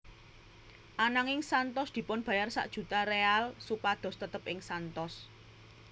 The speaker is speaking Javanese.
Ananging Santos dipunbayar sak juta real supados tetep ing Santos